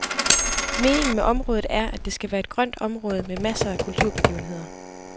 Meningen med området er, at det skal være et grønt område med masser af kulturbegivenheder.